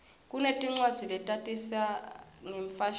kunetincwadzi letatisa ngemfashini